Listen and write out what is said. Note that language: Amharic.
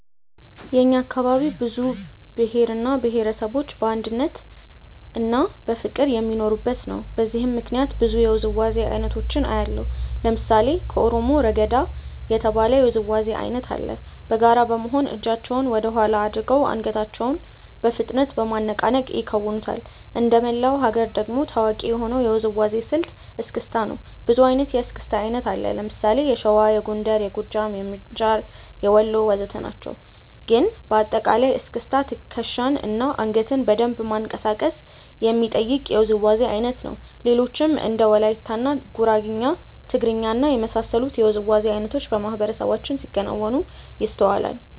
የእኛ አካባቢ ብዙ ብሄር እና ብሄረሰቦች በአንድነትና በፍቅር የሚኖሩበት ነው። በዚህም ምክንያት ብዙ የውዝዋዜ አይነቶችን አያለሁ። ለምሳሌ ከኦሮሞ "ረገዳ" የተባለ የውዝዋዜ አይነት አለ። በጋራ በመሆን እጃቸውን ወደኋላ አድርገው አንገታቸውን በፍጥነት በማነቃነቅ ይከውኑታል። እንደመላው ሀገር ደግሞ ታዋቂ የሆነው የውዝዋዜ ስልት "እስክስታ" ነው። ብዙ አይነት የእስክስታ አይነት አለ። ለምሳሌ የሸዋ፣ የጎንደር፣ የጎጃም፣ የምንጃር፣ የወሎ ወዘተ ናቸው። ግን በአጠቃላይ እስክስታ ትከሻን እና አንገትን በደንብ ማንቀሳቀስ የሚጠይቅ የውዝዋዜ አይነት ነው። ሌሎችም እንደ ወላይትኛ፣ ጉራግኛ፣ ትግርኛ እና የመሳሰሉት የውዝዋዜ አይነቶች በማህበረሰባችን ሲከወኑ ይስተዋላል።